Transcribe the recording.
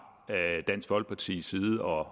dansk folkepartis side og